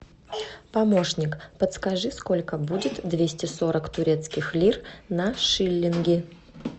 помощник подскажи сколько будет двести сорок турецких лир на шиллинги